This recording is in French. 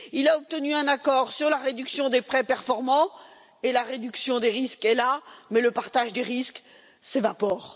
Il a obtenu un accord sur la réduction des prêts non performants, et la réduction des risques est là, mais le partage des risques s'évapore.